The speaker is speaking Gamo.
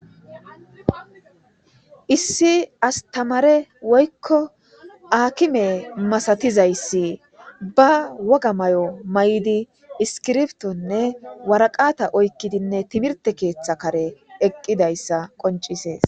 issi astamare woykko aakime masatizayssi ba woga may7o may7idi iskirbtonne waraqata oykkidinne timirte keeththa kare eqqidayssa qoncisees